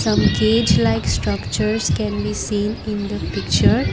some cage like structures can be seen in the picture.